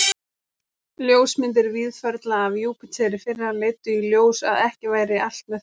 Ljósmyndir Víðförla af Júpíter í fyrra leiddu í ljós, að ekki væri allt með felldu.